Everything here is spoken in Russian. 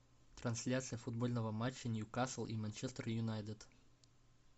трансляция футбольного матча ньюкасл и манчестер юнайтед